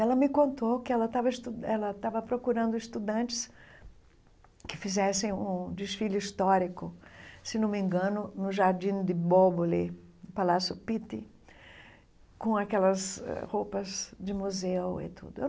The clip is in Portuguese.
Ela me contou que ela estava estu que ela estava procurando estudantes que fizessem um desfile histórico, se não me engano, no Jardim de Bóboli, no Palácio Pitti, com aquelas eh roupas de museu e tudo eu.